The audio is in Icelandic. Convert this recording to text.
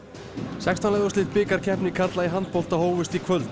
sextán liða úrslit bikarkeppni karla í handbolta hófust í kvöld